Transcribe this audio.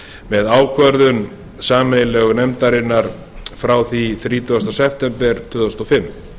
með ákvörðun sameiginlegu nefndarinnar frá þrítugasta september tvö þúsund og fimm